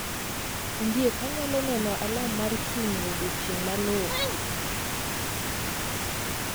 Ondiek anyalo neno alam mar chung ' e odiechieng ' maluwo